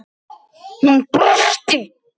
Hún brosti.